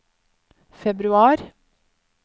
februar